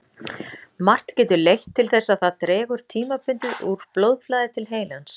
Margt getur leitt til þess að það dregur tímabundið úr blóðflæði til heilans.